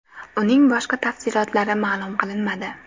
Uning boshqa tafsilotlari ma’lum qilinmadi.